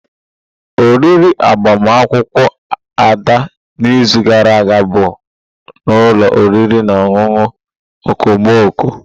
Oriri agbamakwụkwọ Ada n'izu gara aga bụ n'ụlọ oriri na ọṅụṅụ okomoko.